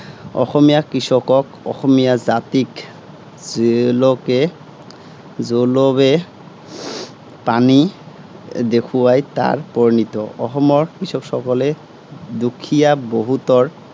অসমীয়া কৃষকক, অসমীয়া জাতিক জোলােকে জোলােবে পানী, দেখুৱাই তাৰ পৰিনিত। অসমৰ কৃষকসকলে দুখীয়াক বহুতৰ